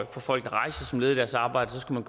for folk der rejser som led i deres arbejde så skulle